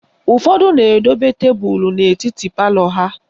Ụfọdụ na-edobe tebulu n'etiti palọ ha.